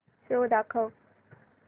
show दाखव